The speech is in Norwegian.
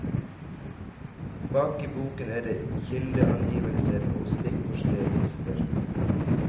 Bak i boken er det kildeangivelser og stikkordregister.